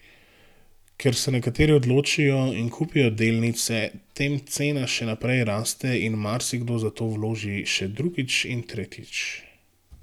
Ker se nekateri odločijo in kupijo delnice, tem cena še naprej raste in marsikdo zato vloži še drugič in tretjič.